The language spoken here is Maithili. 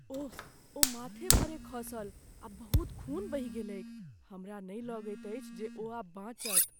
ओह, ओ माथे भरे खसल आ बहुत खून बहि गेलैक। हमरा नहि लगैत अछि जे ओ आब बाँचत।